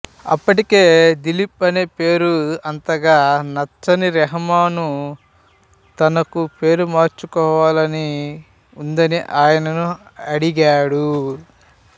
అప్పటికే దిలీప్ అనే పేరు అంతగా నచ్చని రెహమాన్ తనకు పేరు మార్చుకోవాలని ఉందని ఆయన్ను అడిగాడు